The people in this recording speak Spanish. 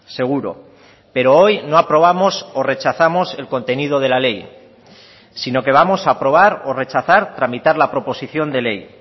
seguro pero hoy no aprobamos o rechazamos el contenido de la ley sino que vamos a aprobar o rechazar tramitar la proposición de ley